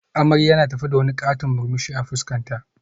Amarya na tafe da wani katon murmushi a fuskarta